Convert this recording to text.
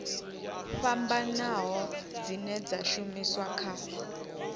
fhambanaho dzine dza shumiswa kha